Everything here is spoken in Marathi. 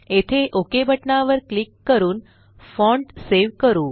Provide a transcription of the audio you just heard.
येथे Okबटना वर क्लिक करून फॉण्ट सेव करू